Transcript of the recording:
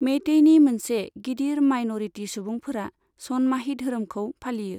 मेइतेइनि मोनसे गिदिर मायन'रिटि सुबुंफोरा सनमाही धोरोमखौ फालियो।